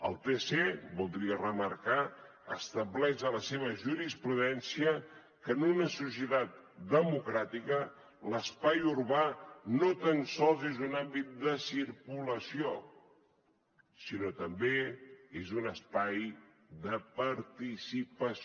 el tc voldria remarcar estableix a la seva jurisprudència que en una societat democràtica l’espai urbà no tan sols és un àmbit de circulació sinó també és un espai de participació